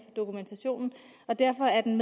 dokumentation og derfor er den